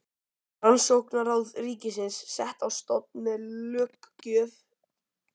Rannsóknaráð ríkisins sett á stofn með löggjöf um náttúrurannsóknir.